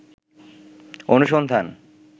অনুসন্ধান